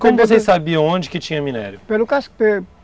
Como vocês sabiam onde que tinha minério? Pelo